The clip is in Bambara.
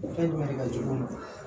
Fɛn ɲuman de ka jugu